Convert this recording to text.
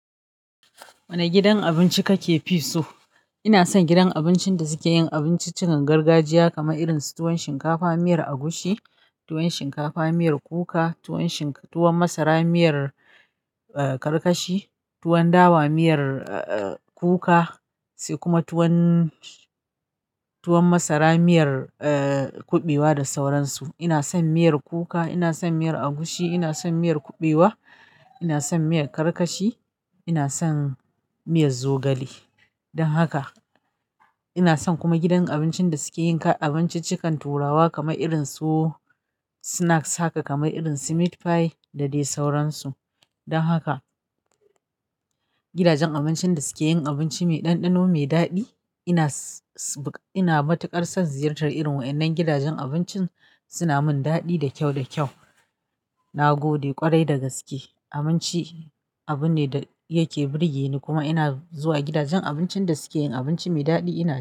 Wane gidan abinci kake fi so? Ina son gidan abincin da suke yin abinciccikan gargajiya kamar irin su tuwon shinkafa miyar agushi, tuwon shinkafa miyar kuka, tuwon masara miyar, eh, karkashi, tuwon dawa miyar, eh, kuka sai kuma tuwon, tuwon masara miyar, eh, kuɓewa da sauran su. Ina son miyar kuka, ina son miyar agushi, ina son miyar kuɓewa, ina son miyar karkashi, ina son miyar zogale. Don haka ina son kuma gidan abincin da suke yin abinciccikan turawa kamar irin su snacks haka kamar irin su meat pie da dai sauran su. Don haka gidajen abincin da suke yin abinci mai ɗanɗano mai daɗi ina, ina matuƙar son ziyartar irin waɗannan gidajen abincin suna mun daɗi da kyau da kyau. Na gode ƙwarai da gaske. Abinci abu ne da yake burge ni kuma ina zuwa gidajen abincin da suke yin abinci mai daɗi ina son.